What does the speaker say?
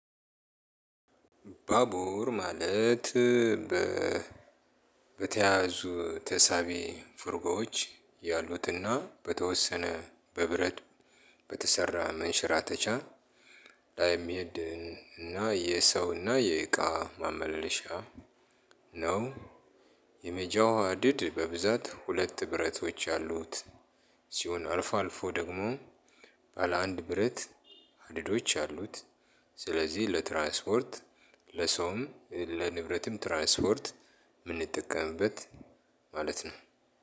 ባቡር ማለት በ በተያዙ ተሳቢ ፍርጎዎች ያሉትና በተወሰነ በብረት በተሰራ መንሸራተቻ ላይም ምሄድ እና የሰው እና የእቃ ማመለሻ ነው። የመጃዋድድ በብዛት ሁለት ብረቶች አሉት። ሲሆን አልፎ አልፎ ደግሞ ባለ አንድ ብረት ሀዲዶች ያሉት። ስለዚህ ለትራስፖርት ለሰውም ለንብረትም ትራንስፖርት የምንጠቀምበት ማለት ነው።